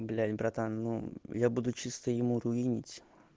блять братан ну я буду чисто ему руинить